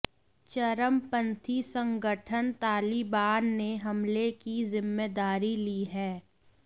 चरमपंथी संगठन तालिबान ने हमले की ज़िम्मेदारी ली है